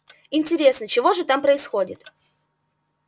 интересно чего же там происходит